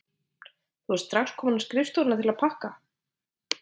Þú ert strax komin á skrifstofuna til að pakka?